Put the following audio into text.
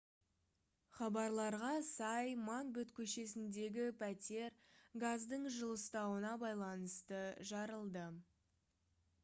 хабарларға сай макбет көшесіндегі пәтер газдың жылыстауына байланысты жарылды